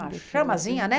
A chamazinha, né?